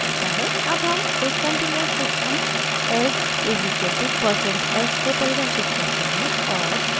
अब हम एक continuous system s is equal to percent s को परिभाषित करते हैं और